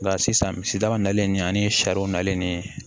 Nka sisan misidaga nalen ni ani sariw nalen ni